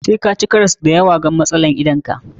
Sai fa ka ci karas da yawa wa matsalan idan ka.